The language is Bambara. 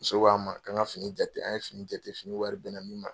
Muso k'an ma, k'an ka fini jate, an ye fini jate. Fini wari bɛnna min ma